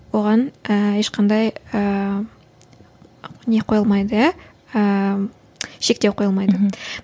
оған ііі ешқандай ыыы не қойылмайды иә ыыы шектеу қойылмайды мхм